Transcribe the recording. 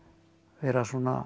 vera